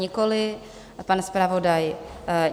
Nikoliv, a pan zpravodaj?